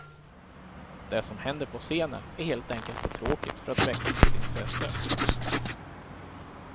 Det som händer på scenen är helt enkelt för tråkigt för att väcka mitt intresse.